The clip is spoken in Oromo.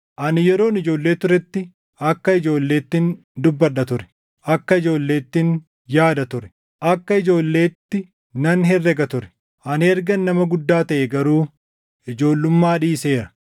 Ani yeroon ijoollee turetti, akka ijoolleettin dubbadha ture; akka ijoolleettin yaada ture; akka ijoolleetti nan herrega ture; ani ergan nama guddaa taʼee garuu ijoollummaa dhiiseera.